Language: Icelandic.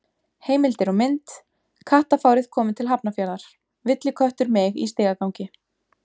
Heimildir og mynd: Kattafárið komið til Hafnarfjarðar: Villiköttur meig í stigagangi.